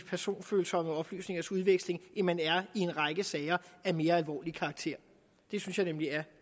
personfølsomme oplysningers udveksling end man er i en række sager af mere alvorlig karakter det synes jeg nemlig er